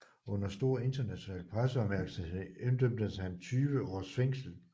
Under stor international presseopmærksomhed idømmes han 20 års fængsel